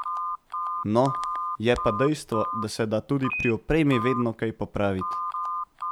No, je pa dejstvo, da se da tudi pri opremi vedno kaj popraviti.